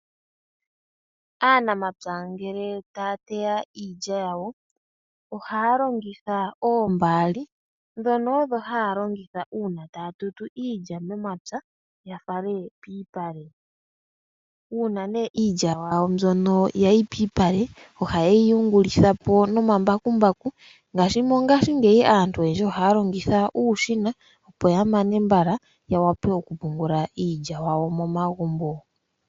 Aanamapya ngele ta ya teya iilya yawo, ohaya longitha oombaali, ndhono odho ha ya longitha uuna taya tutu iilya momapya ya fale pomalupale. Uuna nee iilya yawo ya yi piipale ohaye yi yungulithapo nomambakumbaku , ngaadhi mongashingey aantu ohaya longitha uushina opo ya mane mbala ,ya wape oku pungula iilya yawo momagumbo.